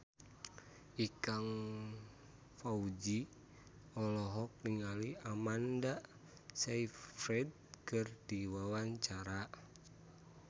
Ikang Fawzi olohok ningali Amanda Sayfried keur diwawancara